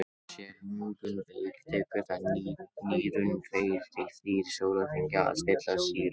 séu lungun veik tekur það nýrun tveir til þrír sólarhringa að stilla sýrustigið